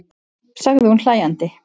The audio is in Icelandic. sagði hún hlæjandi.